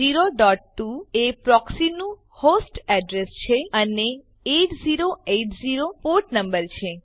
102402 એ પ્રોક્સીનું host address છે અને 8080 પોર્ટ નંબર છે